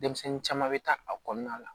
Denmisɛnnin caman bɛ taa a kɔnɔna la